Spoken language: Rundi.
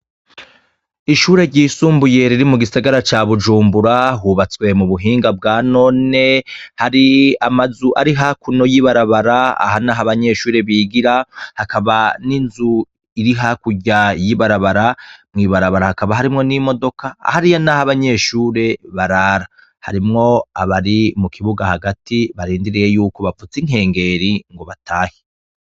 Ishure ryisumbuye riri mugisagara ca bujumbura, hubatswe m'ubuhinga bwa none, hari amazu ari hakuno y'ibarabara aha nah'abanyeshure bigira, hakaba n'inzu iri hakurya y'ibarabara, mw'ibarabara hakaba harimwo n'imodoka hariya n'abanyeshure barara, harimwo abari mukibuga hagati barindiriye bavuz'inkengeri batahe.